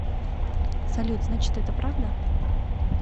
салют значит это правда